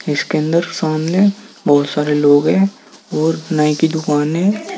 इसके अंदर सामने बहोत सारे लोग है और नाइ की दुकान है।